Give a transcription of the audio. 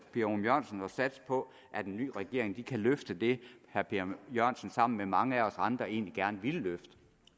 ørum jørgensen at satse på at en ny regering kan løfte det herre per jørgensen sammen med mange af os andre egentlig gerne ville løfte